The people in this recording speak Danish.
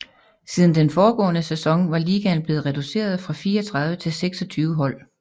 Siden den foregående sæson var ligaen blevet reduceret fra 34 til 26 hold